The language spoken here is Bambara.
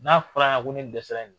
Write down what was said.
N'a fɔr'a ye ko ne dɛsɛra in na.